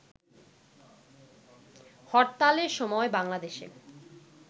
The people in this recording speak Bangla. হরতালের সময় বাংলাদেশে